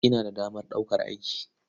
Ina da damar ɗaukar aiki.